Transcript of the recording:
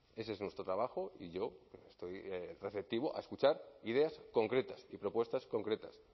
ese es nuestro trabajo y yo esto receptivo a escuchar ideas concretas y propuestas concretas